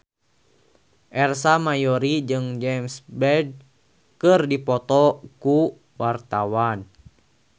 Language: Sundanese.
Ersa Mayori jeung James Bay keur dipoto ku wartawan